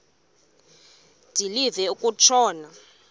de live kutshona